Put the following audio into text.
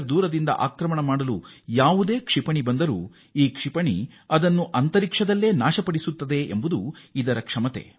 ದೂರದಿಂದ ಕೂಡ ಭಾರತದ ಮೇಲೆ ಕ್ಷಿಪಣಿ ದಾಳಿ ನಡೆಸಿದರೂ ಅದನ್ನು ಆಕಾಶದಲ್ಲೇ ಹೊಡೆದುರುಳಿಸುವ ಶಕ್ತಿಯನ್ನು ಇದು ಹೊಂದಿದೆ